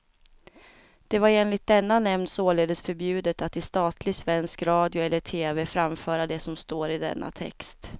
Det var enligt denna nämnd således förbjudet att i statlig svensk radio eller tv framföra det som står i denna text.